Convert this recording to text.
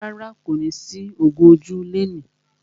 Rárá, kò ní sí ògún ojú lẹni.